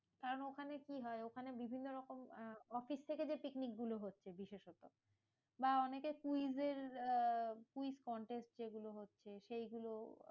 কারণ ওখানে কি হয়? ওখানে বিভিন্ন রকম আহ অফিস থেকে যে পিকনিক গুলো হচ্ছে বিশেষতঃ বা অনেকে quiz এর আহ quiz contest যেগুলো হচ্ছে সেইগুলো